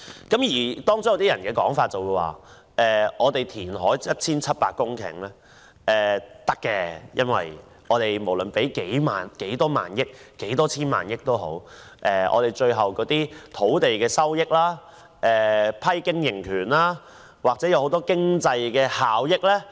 也有人說，填海 1,700 公頃是可行的，因為無論付出多少萬億元或多少千萬億元，最後也能夠獲得土地收益、經營權或其他經濟效益。